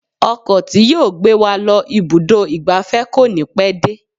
Ọkọ̀ tí yóò gbé wa lọ ibùdó ìgbafẹ́ kò ní pẹ́ dé.